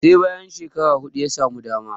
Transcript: sai bayan shekara hudu ya samu dama